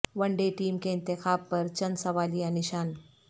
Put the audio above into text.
one day team کے انتخاب پر چند سوالیہ نشان